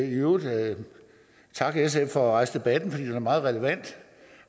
i øvrigt gerne takke sf for at rejse debatten for den er meget relevant